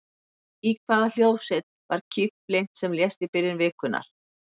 Í hvaða hljómsveit var Keith Flint sem lést í byrjun vikunnar?